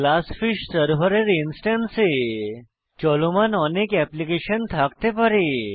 GlassFish server ইনস্ট্যান্সে চলমান অনেক অ্যাপ্লিকেশন থাকতে পারে